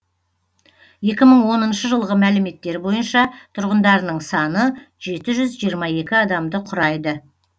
екі мың оныншы жылғы мәліметтер бойынша тұрғындарының саны жеті жүз жиырма екі адамды құрайды